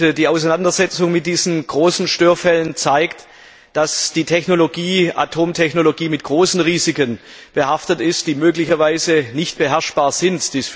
Die Auseinandersetzung mit diesen großen Störfällen zeigt, dass die Atomtechnologie mit großen Risiken behaftet ist, die möglicherweise nicht beherrschbar sind.